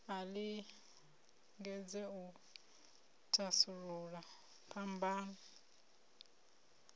a lingedze u thasulula phambano